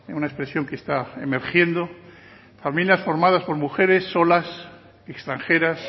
una expresión que está emergiendo familias formadas por mujeres solas extranjeras